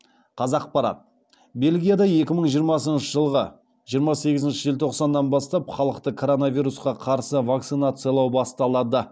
қазақпарат бельгияда екі мың жиырмасыншы жылғы жиырма сегізінші желтоқсаннан бастап халықты коронавирусқа қарсы вакцинациялау басталады